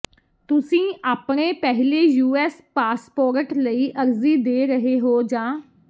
ਤੁਸੀਂ ਆਪਣੇ ਪਹਿਲੇ ਯੂਐਸ ਪਾਸਪੋਰਟ ਲਈ ਅਰਜ਼ੀ ਦੇ ਰਹੇ ਹੋ ਜਾਂ